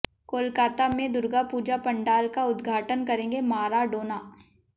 कोलकाता में दुर्गा पूजा पंडाल का उद्घाटन करेंगे माराडोना